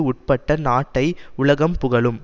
உட்பட்ட நாட்டை உலகம் புகழும்